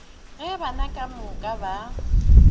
ge bana ka moka ba